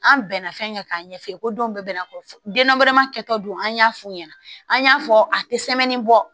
An bɛnna fɛn kɛ k'a ɲɛfɔ ko denw bɛɛ n'a fɔ denbeleman kɛtɔ don an y'a f'u ɲɛna an y'a fɔ a tɛ bɔ